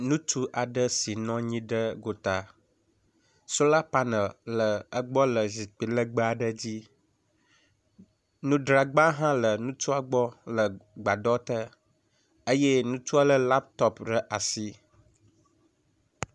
Ŋutsu la bɔbɔnɔ anyi ɖe aŋego si ƒe amadede le abe aŋtsiɖiɖi yi dzi. Bentsi aɖe le egbɔ lapitɔpu le eƒe atata. Sola ŋuse le egbɔ. Nu aɖewo le kplɔ aɖe dzi le eƒe megbe. Kotoku aɖe le afi ma hã.